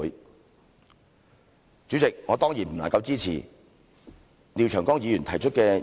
代理主席，我當然不能夠支持廖長江議員提出的議案。